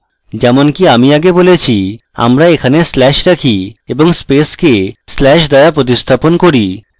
যেমনকি আমি আগে বলেছি আমরা এখানে slash রাখি এবং space slash দ্বারা প্রতিস্থাপন করি